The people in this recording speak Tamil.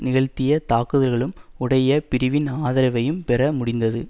நிகழ்த்திய தாக்குதல்களும் உடைய பிரிவின் ஆதரவையும் பெற முடிந்தது